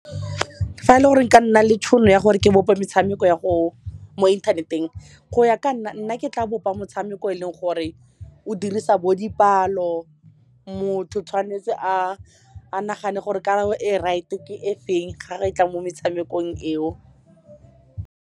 Fa e le gore nka nna le tšhono ya gore ke bope metshameko ya mo inthaneteng, go ya ka nna, nna ke tla bopa motshameko eleng gore o dirisa bo dipalo. Motho tshwanetse a nagane gore karabo e right-e ke e feng ga re e tla mo metshamekong eo.